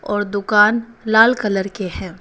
और दुकान लाल कलर के हैं।